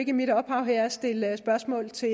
i mit opdrag her at stille spørgsmål til